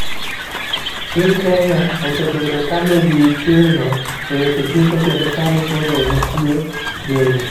Piny kenya osebedo ka ni gi thirno e weche tuke kendo sani koro nitie geno .